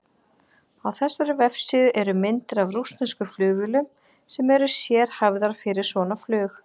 Á þessari vefsíðu eru myndir úr rússneskum flugvélum sem eru sérhæfðar fyrir svona flug.